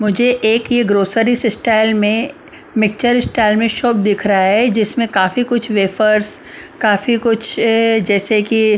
मुझे एक ये ग्रोसरीज स्टाइल में मिक्सचर स्टाइल में शॉप दिख रहा है जिसमें काफी कुछ वेफर्स काफी कुछ ए जैसे कि --